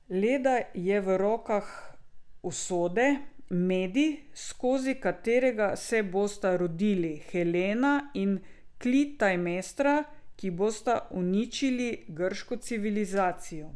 Leda je v rokah usode, medij, skozi katerega se bosta rodili Helena in Klitajmestra, ki bosta uničili grško civilizacijo.